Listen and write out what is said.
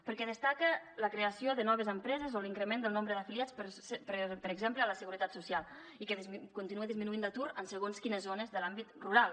perquè destaca la creació de noves empreses o l’increment del nombre d’afiliats per exemple a la seguretat social i continua disminuint l’atur en segons quines zones de l’àmbit rural